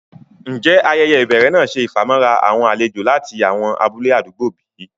Ǹjẹ́ ayẹyẹ́ ibèrè náà ṣẹ ifamọ̀ra awọn àlèjò lati awọn abúlẹ̀ àdúgbò bí?